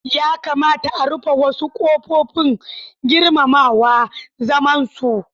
Ya kamata a rufe wasu kofofin; girmama zamansu.